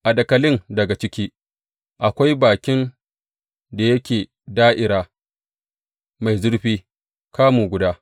A dakalin daga ciki, akwai bakin da yake da’ira, mai zurfi kamun guda.